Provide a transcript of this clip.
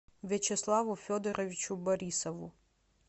вячеславу федоровичу борисову